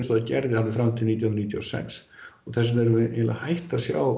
það gerði fram til nítján hundruð níutíu og sex og þess vegna erum við hætt að sjá